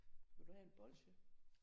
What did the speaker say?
Vil du have en bolsje?